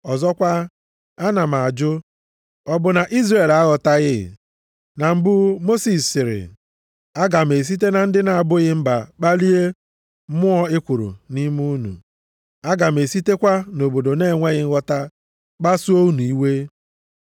Ọzọkwa, ana m ajụ, ọ bụ na Izrel aghọtaghị? Na mbụ, Mosis sịrị, “Aga m esite na ndị na-abụghị mba kpalie mmụọ ekworo nʼime unu; aga m esitekwa nʼobodo na-enweghị nghọta kpasuo unu iwe.” + 10:19 \+xt Dit 32:21\+xt*